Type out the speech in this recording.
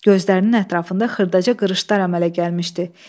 Gözlərinin ətrafında xırdaca qırışlar əmələ gəlmişdi.